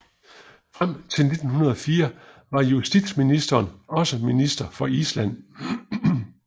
Frem til 1904 var justitsministeren også Minister for Island